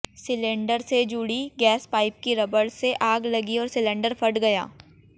cylinder से जुड़ी gas pipe की रबड़ से आग लगी और सिलेंडर फट गया